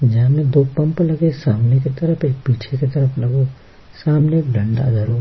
जहाँ में दो पंप लगे सामने की तरफ एक पीछे की तरफ लगो सामने डंडा धरो --